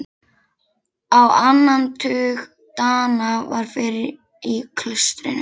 Á annan tug Dana var fyrir í klaustrinu.